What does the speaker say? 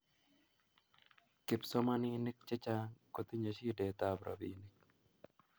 kipsomaninik chechang kotinyei shidet ap ropinik